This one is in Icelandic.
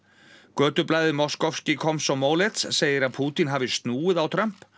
Moskovsky Komsomolets segir að Pútín hafi snúið á Trump